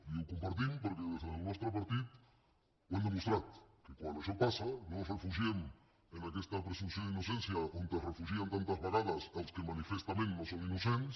i ho compartim perquè des del nostre partit ho hem demostrat que quan això passa no ens refugiem en aquesta presumpció d’innocència on es refugien tantes vegades els que manifestament no són innocents